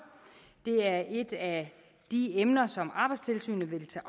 det er et af de emner som arbejdstilsynet vil tage